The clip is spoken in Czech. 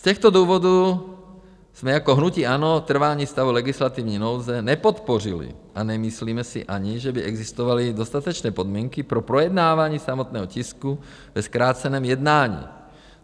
Z těchto důvodů jsme jako hnutí ANO trvání stavu legislativní nouze nepodpořili a nemyslíme si ani, že by existovaly dostatečné podmínky pro projednávání samotného tisku ve zkráceném jednání.